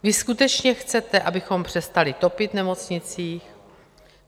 Vy skutečně chcete, abychom přestali topit v nemocnicích?